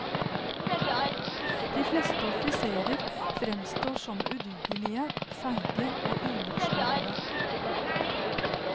De fleste offiserer fremstår som udugelige, feig e og unasjonale.